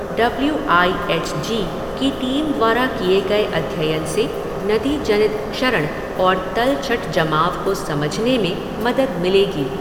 W I H G की team द्वारा किए गए अध्ययन से नदी जनित क्षरण और तलछट जमाव को समझने में मदद मिलेगी